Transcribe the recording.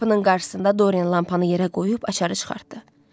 Qapının qarşısında Dorian lampanı yerə qoyub açarı çıxartdı.